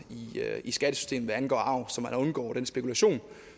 i skattesystemet hvad angår arv så man undgår den spekulation